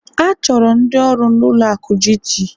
achọrọ ndị ọrụ na-ụlọ akụ Gt